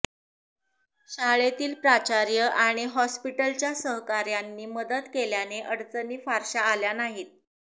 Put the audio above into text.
शाळेतील प्राचार्य आणि हॉस्पिटलच्या सहकाऱ्यांनी मदत केल्याने अडचणी फारशा आल्या नाहीत